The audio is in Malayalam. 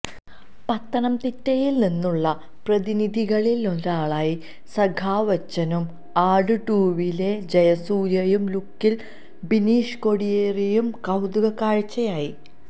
പത്തനംതിട്ടയില്നിന്നുള്ള പ്രതിനിധികളിലൊരാളായി സഖാവച്ചനും ആട് ടൂവിലെ ജയസൂര്യയുടെ ലുക്കില് ബിനീഷ് കോടിയേരിയും കൌതുക കാഴ്ചയായി